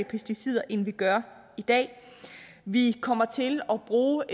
pesticider end vi gør i dag vi kommer til at bruge